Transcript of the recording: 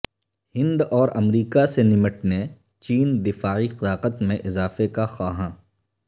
ہند اور امریکہ سے نمٹنے چین دفاعی طاقت میں اضافہ کا خواہاں